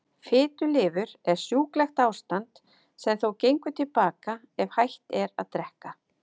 Fitulifur er sjúklegt ástand sem þó gengur til baka ef hætt er að drekka.